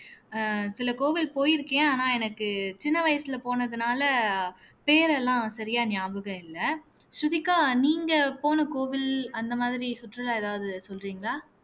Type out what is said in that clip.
அஹ் சில கோவில் போயிருக்கேன் ஆனா எனக்கு சின்ன வயசுல போனதுனால பேர் எல்லாம் சரியா ஞாபகம் இல்லை ஸ்ருதிகா நீங்க போன கோவில் அந்த மாதிரி சுற்றுலா ஏதாவது சொல்றீங்களா